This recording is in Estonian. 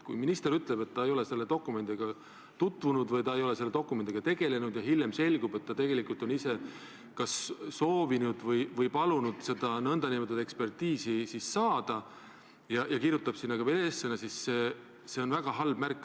Kui minister ütleb, et ta ei ole selle dokumendiga tutvunud või et ta ei ole selle dokumendiga tegelenud, ja hiljem selgub, et tegelikult on ta ise seda nn ekspertiisi soovinud ja kirjutab sellele ka veel eessõna, siis on see väga halb märk.